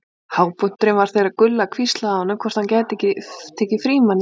Hápunkturinn var þegar Gulla hvíslaði að honum hvort hann gæti ekki tekið Frímann í tíma.